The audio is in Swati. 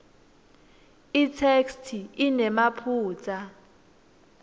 itheksthi inemaphutsa